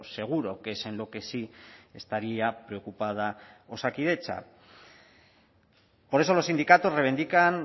seguro que es en lo que sí estaría preocupada osakidetza por eso los sindicatos reivindican